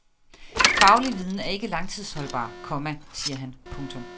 Faglig viden er ikke langtidsholdbar, komma siger han. punktum